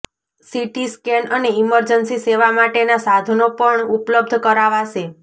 CT scan અને emergency સેવા માટેના સાધનો પણ ઉપલબ્ધ કરાવાશે